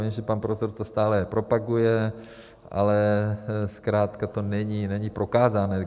Vím, že pan profesor to stále propaguje, ale zkrátka to není prokázáno.